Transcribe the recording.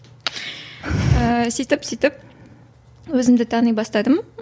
ііі сөйтіп сөйтіп өзімді тани бастадым